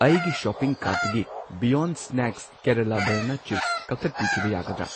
ꯑꯩꯒꯤ ꯁꯣꯄꯤꯡ ꯀꯥꯔꯠꯇꯒꯤ beyond snacks Kerala banana chips ꯀꯛꯊꯠꯄꯤꯈꯤꯕ ꯌꯥꯒꯗ꯭ꯔꯥ?